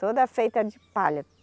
Toda feita de palha.